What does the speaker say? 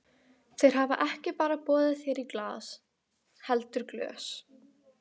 Þeir hafa ekki bara boðið þér í glas heldur glös.